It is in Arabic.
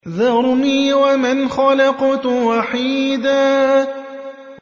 ذَرْنِي وَمَنْ خَلَقْتُ وَحِيدًا